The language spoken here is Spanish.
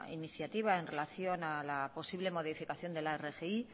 iniciativa en relación a la posible modificación de la rgi